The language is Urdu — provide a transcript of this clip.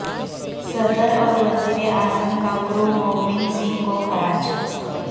صدر اور وزیراعظم کا گرو گووند سنگھ کو خراج